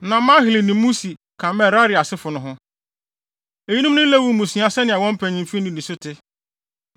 Na Mahli ne Musi ka Merari asefo no ho. Eyinom ne Lewifo mmusua sɛnea wɔn mpanyimfo nnidiso te.